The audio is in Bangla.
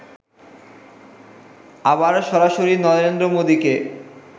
আবার সরাসরি নরেন্দ্র মোদীকে